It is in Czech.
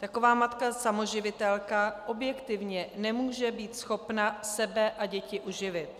Taková matka samoživitelka objektivně nemůže být schopna sebe a děti uživit.